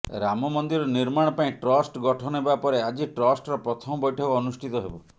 ରାମ ମନ୍ଦିର ନିର୍ମାଣ ପାଇଁ ଟ୍ରଷ୍ଟ ଗଠନ ହେବା ପରେ ଆଜି ଟ୍ରଷ୍ଟର ପ୍ରଥମ ବୈଠକ ଅନୁଷ୍ଠିତ ହେବ